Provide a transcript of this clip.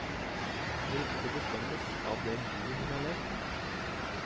Ryktet bestemmes av det livet hun har levd.